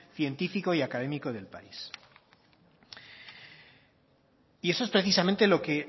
científico y académico del país y eso es precisamente lo que